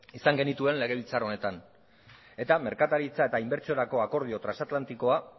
izan genituen legebiltzar honetan eta merkataritza eta inbertsiorako akordio transatlantikoa